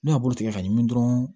N'a b'o tigɛ ka ɲimi dɔrɔn